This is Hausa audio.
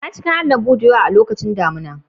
Na ci kayan lambu da yawa a lokacin damina.